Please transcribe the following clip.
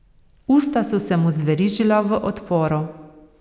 Usta so se mu zverižila v odporu.